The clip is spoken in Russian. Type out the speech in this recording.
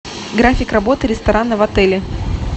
график работы ресторана в отеле